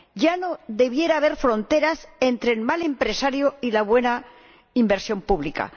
Ya no debiera haber fronteras entre el mal empresario y la buena inversión pública.